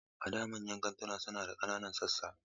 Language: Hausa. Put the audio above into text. A da, manyan kantuna suna da ƙananan sassa.